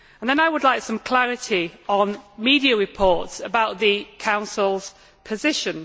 I would like some clarity on media reports about the Council's position.